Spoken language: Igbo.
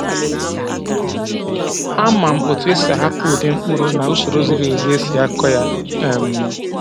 Ama m otu esi ahapụ ụdị mkpụrụ na usoro ziri ezi esi akọ ya. um